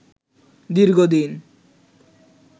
দীর্ঘ দিন